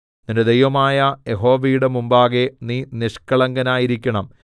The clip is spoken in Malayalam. നിന്റെ ദൈവമായ യഹോവയുടെ മുമ്പാകെ നീ നിഷ്കളങ്കനായിരിക്കണം